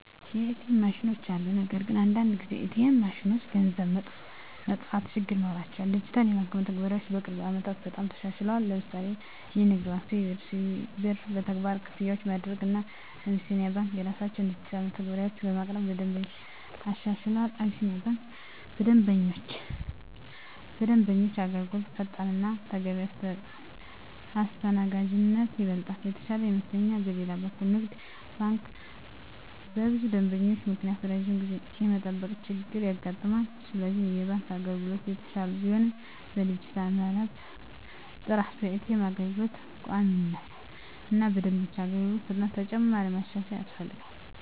ኤ.ቲ.ኤም ማሽኖች አሉ። ነገር ግን አንዳንድ ጊዜ ኤ.ቲ.ኤም ማሽኖች ገንዘብ መጥፋት ችግር ይኖራቸዋል። ዲጂታል የባንክ መተግበሪያዎች በቅርብ ዓመታት በጣም ተሻሽለዋል። ለምሳሌ ንግድ ባንክ(CBE) በCBE Birr መተግበሪያ ክፍያዎችን ማድረግ፣ እና አቢሲኒያ ባንክ የራሳቸውን ዲጂታል መተግበሪያዎች በማቅረብ ለደንበኞች አሻሽለዋል። አቢሲኒያ ባንክ በደንበኞች አገልግሎት ፈጣንነት እና ተገቢ አስተናጋጅነት ይበልጥ የተሻለ ይመስለኛል። በሌላ በኩል ንግድ ባንክ በብዙ ደንበኞች ምክንያት ረጅም ጊዜ የመጠበቅ ችገር ያጋጥማል፤ ስለዚህ የባንክ አገልግሎቶች እየተሻሻሉ ቢሆንም በዲጂታል መረብ ጥራት፣ በኤ.ቲ.ኤም አገልግሎት ቋሚነት እና በደንበኞች አገልግሎት ፍጥነት ተጨማሪ ማሻሻያ ያስፈልጋል።